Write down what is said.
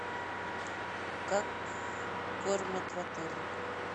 как кормят в отеле